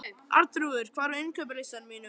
Arnþrúður, hvað er á innkaupalistanum mínum?